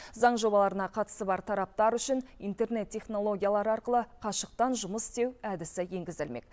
заң жобаларына қатысы бар тараптар үшін интернет технологиялары арқылы қашықтан жұмыс істеу әдісі енгізілмек